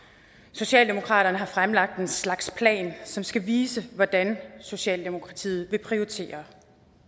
socialdemokratiet har fremlagt en slags plan som skal vise hvordan socialdemokratiet vil prioritere